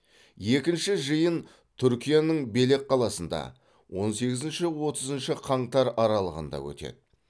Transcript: екінші жиын түркияның белек қаласында он сегізінші отызыншы қаңтар аралығында өтеді